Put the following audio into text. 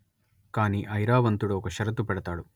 కాని ఐరావంతుడు ఒక షరతు పెడతాడు